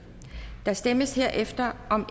der stemmes herefter om